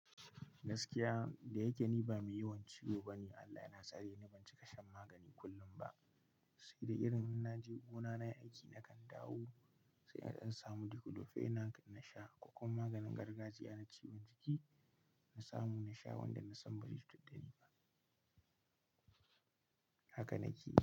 Gaskiya, da yake ni ba mai yawan ciwo bane, Allah yana tsare ni, ban cika shan magani kullum ba. Sai dai irin na je gona nayi aiki na kan dawo, sai na dan samu Diclofenac na sha, ko kuma maganin gargajiya na ciwon jiki na samu na sha wanda na san barai cutar da ni ba. Haka na ke.